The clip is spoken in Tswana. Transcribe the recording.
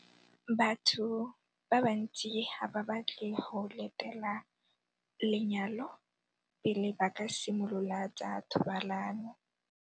Batho ba bantsi ga ba batle go letela lenyalo pele ba ka simolola tsa thobalano.